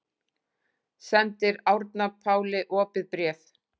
Sendir Árna Páli opið bréf